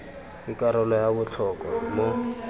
ke karolo ya botlhokwa mo